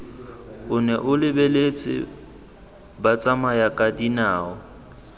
o nne o lebeletse batsamayakadinao